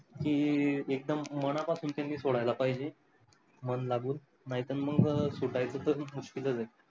की एक्दम मनापासून त्यांनी सोडायला पाहिजे. मन लागून नाही तर मग सुटायचं मुश्कीलच आहे.